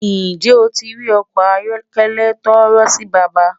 Njẹ́ ó ti rí ọkọ ayọ̀kẹlẹ̀ tọ́ọ̣́ọ̣̀rọ̀ sí bàbá?